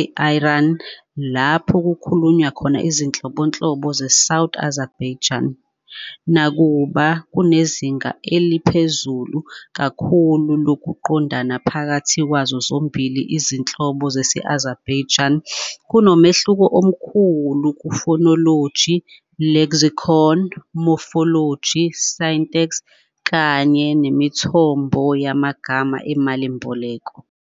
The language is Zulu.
e-Iran, lapho kukhulunywa khona izinhlobonhlobo ze-South Azerbaijani. Nakuba kunezinga eliphezulu kakhulu lokuqondana phakathi kwazo zombili izinhlobo zesi-Azerbaijani, kunomehluko omkhulu kuphonology, lexicon, morphology, syntax kanye nemithombo yamagama emalimboleko.